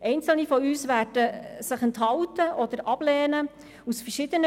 Einzelne von uns werden sich aus verschiedenen Gründen enthalten oder das Anliegen ablehnen.